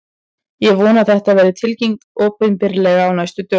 Ég vona að þetta verði tilkynnt opinberlega á næstu dögum.